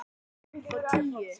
Þær eru upp á tíu.